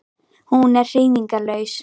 Hún er hreyfingarlaus.